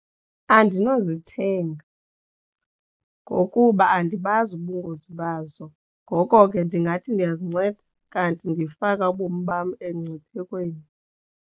Andinozithenga ngokuba andibazi ubungozi bazo. Ngoko ke ndingathi ndiyaazinceda kanti ndifaka ubomi bam engciphekweni.